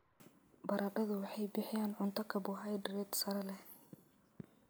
Baradhadu waxay bixiyaan cunto karbohaydrayt sare leh.